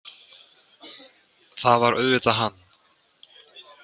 Það var auðvitað hann.